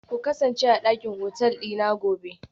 Ku kasance a dakin hotel dina gobe